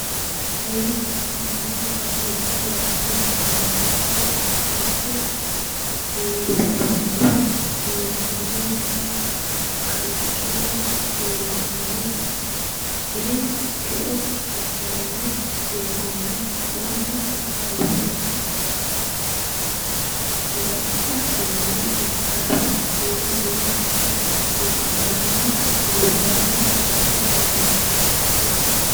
Seennu gobbannihu baallunku waatinni jawaattota ikke heewisamanni biinfilensa kalqete leellishanni hire eo afirano doogonna mannu affinonsare macca seenne ikkara yee duuchare wo'nalanna la'nanni base baaallantera.